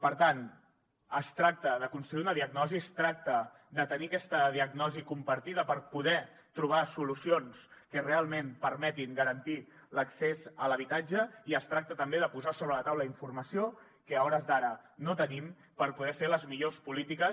per tant es tracta de construir una diagnosi es tracta de tenir aquesta diagnosi compartida per poder trobar solucions que realment permetin garantir l’accés a l’habitatge i es tracta també de posar sobre la taula informació que a hores d’ara no tenim per poder fer les millors polítiques